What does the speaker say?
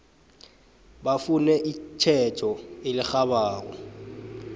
bafune itjhejo elirhabako